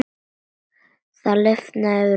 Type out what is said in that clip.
Það lifnaði yfir mömmu.